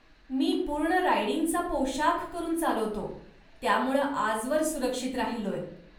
मी पूर्ण रायडिंगचा पोशाख करून चालवतो, त्यामुळं आजवर सुरक्षित राहिलोय.